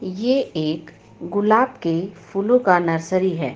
ये एक गुलाब के फूलों का नर्सेरी है.